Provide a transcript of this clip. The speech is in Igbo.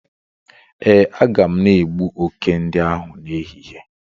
Ee, a ga m na egbu oke ndi ahu n'ehihie